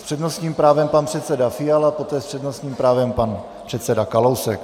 S přednostním právem pan předseda Fiala, poté s přednostním právem pan předseda Kalousek.